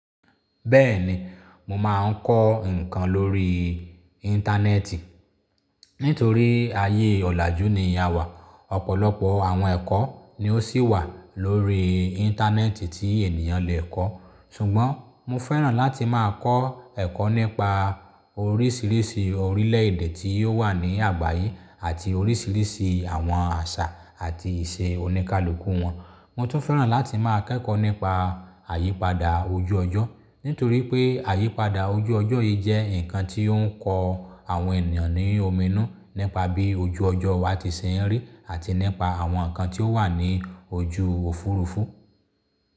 Bẹ́ẹ̀ni mo máa ń kọ́ nǹkan lórí íńtánẹ́ẹ̀tì. Nítorí ayé ọ̀làjú ni a wà. Ọ̀pọ̀lọpọ̀ àwọn ẹ̀kọ́ ni ó sì wà lórí íńtánẹ́ẹ̀tì tí ènìyàn lè kọ́. Ṣùgbọ́n mo fẹ́ràn láti máa kọ́ ẹ̀kọ́ nípa oríṣìíríṣìí orílẹ̀èdè tí ó wà ní àgbáyé àti oríṣìíríṣìí àwọn àṣà àti ìṣe òníkalòmukú wọn. Mo tún fẹ́ràn láti máa kẹ́kọ̀ọ́ nípa àyípadà ojú ọjọ́. Nítorí pé àyípadà ojú ọjọ́ yìí jẹ́ nǹkan tí ó ń kọ àwọn ènìyàn ní omi inú nípa bí ojú ọjọ́ wa ti ṣe ń rí àti nípa àwọn nǹkan tí ó wà ní ojú Òfurufú.